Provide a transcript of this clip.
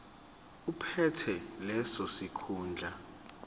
ophethe leso sikhundla